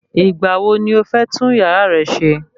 Ìgbà wo ni o fẹ́ tún yàrá rẹ se?